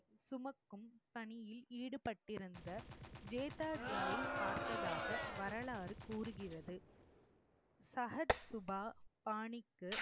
சுமக்கும் பணியில் ஈடுபட்டிருந்த ஜேதாஜியை பார்த்ததாக வரலாறு கூறுகிறது. சஹத்சுபா பாணிக்கு